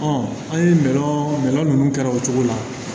an ye min kɛ o cogo la